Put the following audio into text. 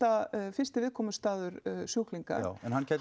fyrsti viðkomustaður sjúklinga hann